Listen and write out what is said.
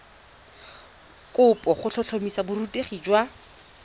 kopo go tlhotlhomisa borutegi jwa